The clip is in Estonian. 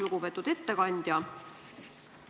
Lugupeetud ettekandja!